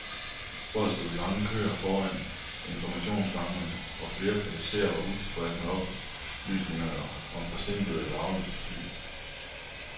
Folk stod i lange køer foran informationsskrankerne, og flere passagerer var utilfredse med oplysningerne om forsinkede eller aflyste fly.